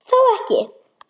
Þó ekki.?